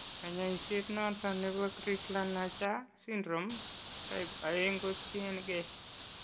Kanyaiset noton nebo Crigler Najjar syndrome , type 2 ko tien gee